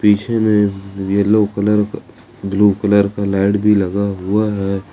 पीछे मे yellow colour blue colour का लाइट भी लगा हुआ है।